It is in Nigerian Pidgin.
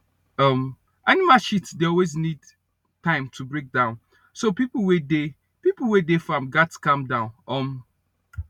um animal shit dey always need time to break down so pipo wey dey pipo wey dey farm gats calm down um